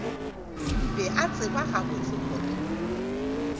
be a tseba gabotse gore